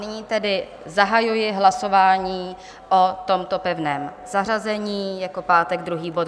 Nyní tedy zahajuji hlasování o tomto pevném zařazení jako pátek druhý bod.